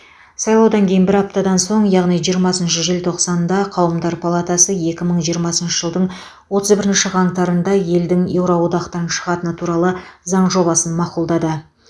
сайлаудан кейін бір аптадан соң яғни жиырмасыншы желтоқсанда қауымдар палатасы екі мың жиырмасыншы жылдың отыз бірінші қаңтарында елдің еуро одақтан шығатыны туралы заң жобасын мақұлдады